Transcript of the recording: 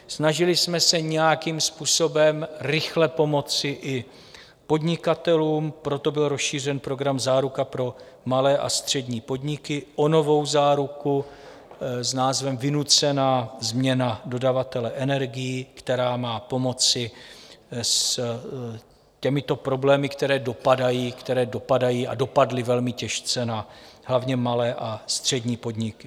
Snažili jsme se nějakým způsobem rychle pomoci i podnikatelům, proto byl rozšířen program Záruka pro malé a střední podniky o novou záruku s názvem Vynucená změna dodavatele energií, která má pomoci s těmito problémy, které dopadají a dopadly velmi těžce na hlavně malé a střední podniky.